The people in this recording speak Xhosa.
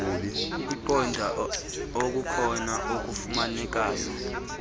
kukuqonda okukhona okufumanekayo